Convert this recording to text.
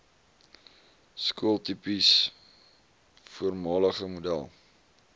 skooltipes voormalige model